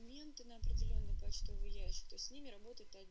клиенты на определённый почтовый ящик с ними работать